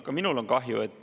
Ka minul on kahju.